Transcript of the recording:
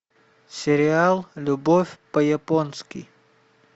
сериал любовь по японски